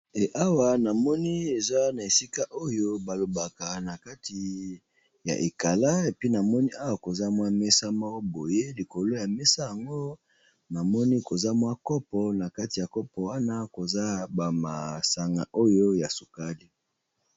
Awa na moni eza na esika oyo ba lobaka na kati ya ekala et puis na moni awa eza mwa mesa moko boye, likolo ya mesa yango na moni eza mwa kopo, na kati ya kopo wana eza ba masanga oyo ya sukali .